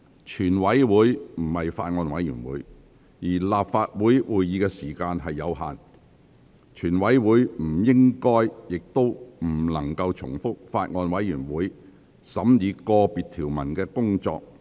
全體委員會不是法案委員會，而立法會會議的時間有限，全體委員會不應亦不可能重複法案委員會審議個別條文的工作。